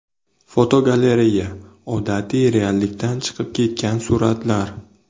Fotogalereya: Odatiy reallikdan chiqib ketgan suratlar.